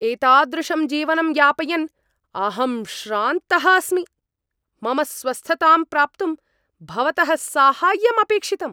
एतादृशं जीवनं यापयन् अहं श्रान्तः अस्मि। मम स्वस्थतां प्राप्तुं भवतः साहाय्यं अपेक्षितम्!